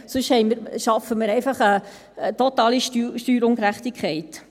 Sonst schaffen wir einfach eine totale Steuerungerechtigkeit.